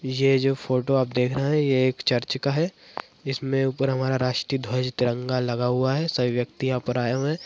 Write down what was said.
ये जो फोटो आप देख रहे हैं ये एक चर्च का है इसमें ऊपर हमारा राष्ट्रीय ध्वज तिरंगा लगा हुआ है सभी व्यक्ति यहाँ पर आए हुए हैं।